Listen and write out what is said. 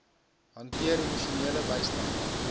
hanteer emosionele bystand